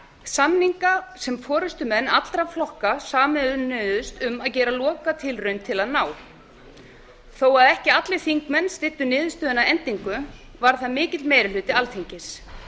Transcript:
samninga sem forustumenn allra flokka sameinuðust um að gera lokatilraun til að ná þó ekki allir þingmenn styddu niðurstöðuna að endingu var það mikill meiri hluti alþingis